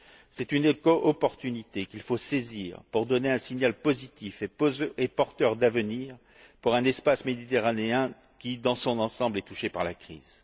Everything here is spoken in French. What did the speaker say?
C'est une éco opportunité qu'il faut saisir pour donner un signal positif et porteur d'avenir pour un espace méditerranéen qui, dans son ensemble, est touché par la crise.